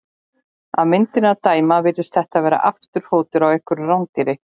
Af myndinni að dæma virðist þetta vera afturfótur á einhverju rándýri.